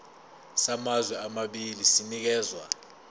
samazwe amabili sinikezwa